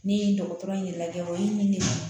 Ne ye dɔgɔtɔrɔ in lajɛ wa min de ye